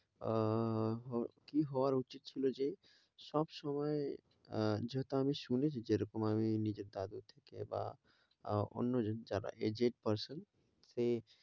আহ কি হওয়ার উচিত ছিল যে সবসময় আহ যেটা আমি শুনেছি যে এরকম আমি নিজের তাগিদে থেকে বা অন্যজন যারা aged person ফের